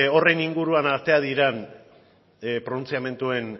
horren inguruan atera diren pronuntziamenduen